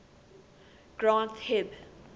granth hib